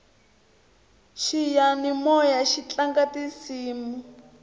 xiyanimoyaxi tlanga tisimu